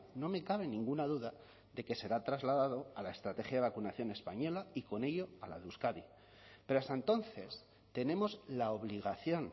no me cabe ninguna duda de que será trasladado a la estrategia de vacunación española y con ello a la de euskadi pero hasta entonces tenemos la obligación